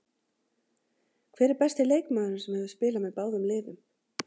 Hver er besti leikmaðurinn sem hefur spilað með báðum liðum?